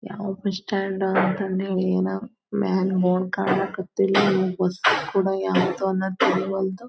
ಯಾವ್ bus stand ಅನ್ನ ತಂದೆ ಏನೋ ಮ್ಯಾಲ ಬೋರ್ಡ್ ಕಾಣಕತ್ತಿಲ್ಲಾ ಬಸ್ ಕೂಡ ಯಾವದು ಅನ್ನುವುದು ತಿಳಿವಲ್ತು.